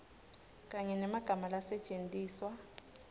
kanye nemagama lasetjentiswa